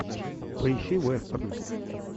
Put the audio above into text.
поищи вестерн